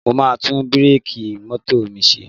Mo máa tún bíréèkì mọ́tò mi ṣe